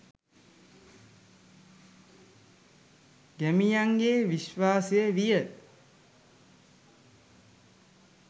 ගැමියන්ගේ විශ්වාසය විය